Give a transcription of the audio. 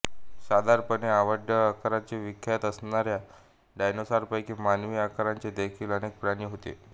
साधारणपणे अवाढव्य आकारासाठी विख्यात असणाऱ्या डायनोसॉरपैकी मानवी आकाराचे देखील अनेक प्राणी होते